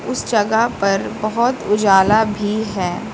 इस जगह पर बहोत उजाला भी है।